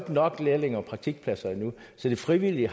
nok lærlinge og praktikpladser endnu så de frivillige